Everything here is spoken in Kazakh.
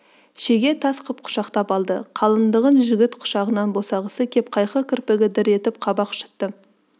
шеге тас қып құшақтап алды қалыңдығын жігіт құшағынан босағысы кеп қайқы кірпігі дір етіп қабақ шытты